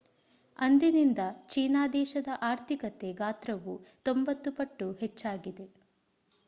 ಅಂದಿನಿಂದ ಚೀನಾ ದೇಶದ ಆರ್ಥಿಕತೆ ಗಾತ್ರವು 90 ಪಟ್ಟು ಹೆಚ್ಚಾಗಿದೆ